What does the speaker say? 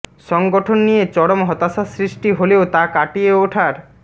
সংগঠন নিয়ে চরম হতাশা সৃষ্টি হলেও তা কাটিয়ে ওঠার